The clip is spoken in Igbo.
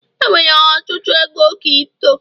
enwere ọtụtụ ego Kripto